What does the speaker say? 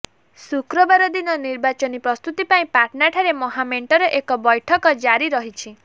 ଶୁକ୍ରବାର ଦିନ ନିର୍ବାଚନୀ ପ୍ରସ୍ତୁତି ପାଇଁ ପାଟନାଠାରେ ମହାମେଣ୍ଟର ଏକ ବୈଠକ ଜାରି ରହିଛି